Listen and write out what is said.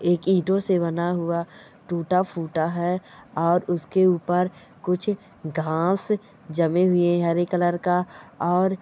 एक ईंटों से बना हुआ टुटा फूटा है और उसके ऊपर कुछ घास जमे हुए हैं हरे कलर का और--